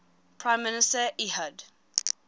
prime minister ehud